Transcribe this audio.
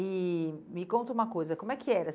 E me conta uma coisa, como é que era?